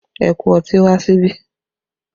Ẹ kó ọtí wá síbí!